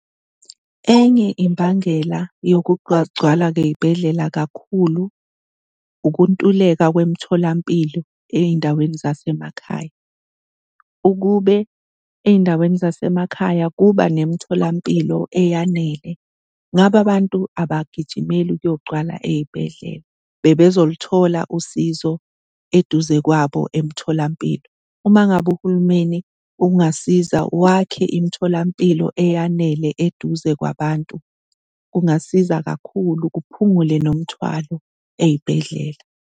Enye imbangela yokwagcwala kwey'bhedlela kakhulu ukuntuleka kwemitholampilo ey'ndaweni zasemakhaya. Ukube ey'ndaweni zasemakhaya kuba nemitholampilo eyanele ngabe abantu abagijimeli ukuyogcwala ey'bhedlela, bebezolithola usizo eduze kwabo emtholampilo. Uma ngabe uhulumeni ungasiza wakhe imitholampilo eyanele eduze kwabantu, kungasiza kakhulu kuphungule nomthwalo ey'bhedlela.